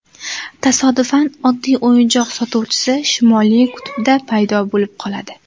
Tasodifan oddiy o‘yinchoq sotuvchisi Shimoliy qutbda paydo bo‘lib qoladi.